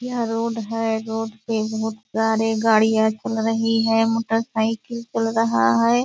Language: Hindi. यह रोड है रोड पे बहुत सारे गाड़ियाँ चल रही है मोटर साइकिल चल रहा है।